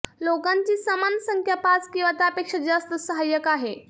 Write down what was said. लोकांची समान संख्या पाच किंवा त्यापेक्षा जास्त सहाय्यक आहे